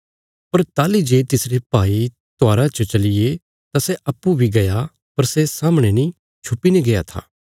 पर ताहली जे तिसरे भाई त्योहारा च चलिये तां सै अप्पूँ बी गया पर सै सामणे नीं छुपीने गया था